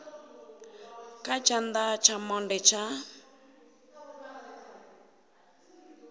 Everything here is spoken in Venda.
kha tshana tsha monde tsha